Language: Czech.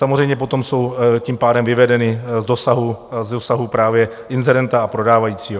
Samozřejmě potom jsou tím pádem vyvedeny z dosahu právě inzerenta a prodávajícího.